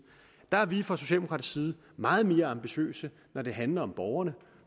der er vi fra socialdemokratisk side meget mere ambitiøse når det handler om borgerne